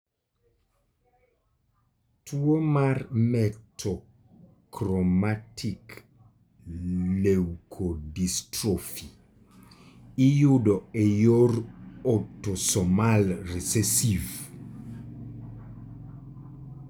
Tuwo mar metachromatic leukodystrophy iyudo e yor autosomal recessive.